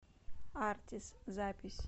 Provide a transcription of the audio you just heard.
артис запись